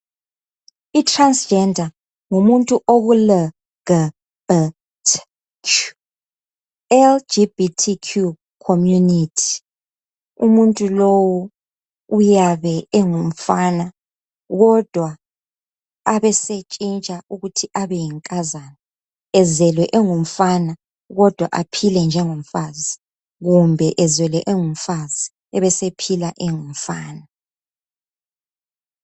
i transgender yi LGBTQ community umuntu lowu uyabe engumfana kodwa abesetshintsha ukuthi abe yinkazana ezelwe engumfana kodwa aphile njengo mfazi kumbe ezelwe engumfazi ebesephila engumfana